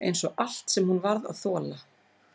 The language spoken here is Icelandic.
Einsog allt sem hún varð að þola.